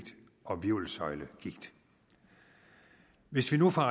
og hvirvelsøjlegigt hvis vi nu fra